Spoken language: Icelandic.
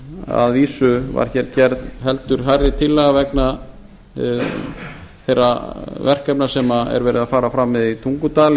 að vísu var gerð heldur hærri tillaga vegna þeirra verkefna sem er verið að fara fram með í tungudal